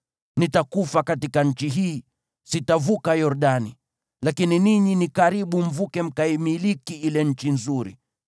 Nitakufa katika nchi hii; sitavuka Yordani, lakini ninyi ni karibu mvuke mkaimiliki ile nchi nzuri.